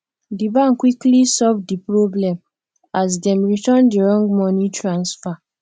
di bank quickly solve di problem as dem return di wrong money transfer